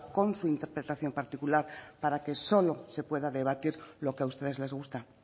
con su interpretación particular para que solo se pueda debatir lo que a ustedes les gusta